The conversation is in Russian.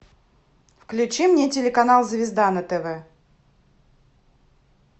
включи мне телеканал звезда на тв